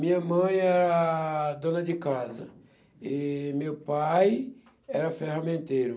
Minha mãe era dona de casa e meu pai era ferramenteiro.